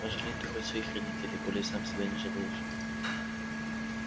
пожалей ты хоть своих родителей коли сам себя не жалеешь